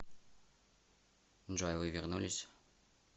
джой вы вернулись